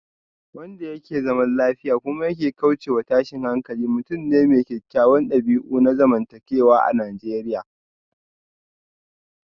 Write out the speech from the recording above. Wanda yake zaman lafiya kuma ya kaucewa tashin hankali mutum ne mai kyawawan dabi'u na zamantakewa a Najeriya